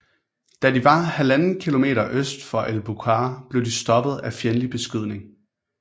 Da de var 1½ km øst for El Buqqar blev de stoppet af fjendtlig beskydning